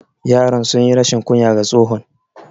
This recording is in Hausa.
Yaran sunyi rashin kunya ga tsohon.